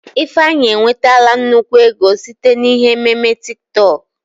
Ifeanyị enwetala nnukwu ego site na ihe ememe TiK TọK